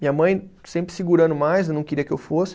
Minha mãe sempre segurando mais, não queria que eu fosse.